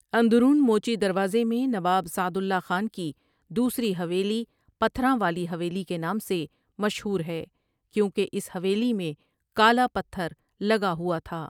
اندرون موچی دروازے میں نواب سعد اللہ خان کی دوسری حویلی ٴٴپتھراں والی حویلی ٴٴ کے نام سے مشہور ہے کیونکہ اس حویلی میں کالا پتھر لگا ہوا تھا ۔